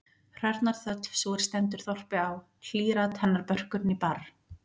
Hrörnar þöll, sú er stendur þorpi á, hlýr-at henni börkur né barr.